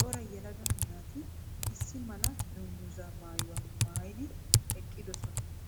cora yelaga naati issi mala dunguza maayuwa maayidi eqqidosona.